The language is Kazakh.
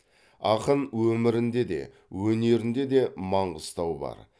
ақын өмірінде де өнерін де де маңғыстау бар